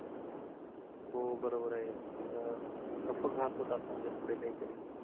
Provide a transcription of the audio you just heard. हो बरोबर आहे अं घात होतात म्हणजे पुढे काय तरी